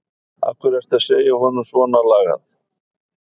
Af hverju ertu að segja honum svonalagað?